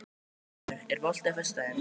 Vémundur, er bolti á föstudaginn?